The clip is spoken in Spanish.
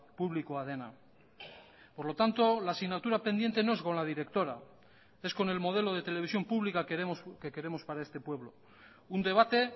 publikoa dena por lo tanto la asignatura pendiente no es con la directora es con el modelo de televisión pública que queremos para este pueblo un debate